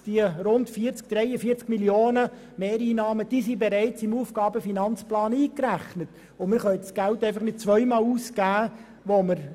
Diese 43 Mio. Franken sind jedoch bereits im AFP eingerechnet, und wir können das Geld nicht zweimal ausgeben.